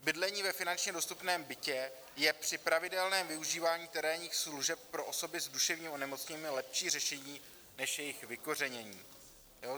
Bydlení ve finančně dostupném bytě je při pravidelném využívání terénních služeb pro osoby s duševním onemocněním lepší řešení než jejich vykořenění.